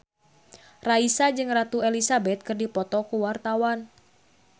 Raisa jeung Ratu Elizabeth keur dipoto ku wartawan